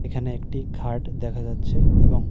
এখানে একটি খাট দেখা যাচ্ছে এবং--